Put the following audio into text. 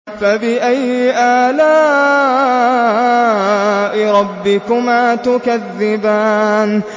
فَبِأَيِّ آلَاءِ رَبِّكُمَا تُكَذِّبَانِ